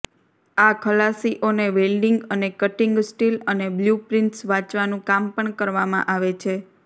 આ ખલાસીઓને વેલ્ડિંગ અને કટીંગ સ્ટીલ અને બ્લ્યુપ્રિન્ટ્સ વાંચવાનું કામ પણ કરવામાં આવે છે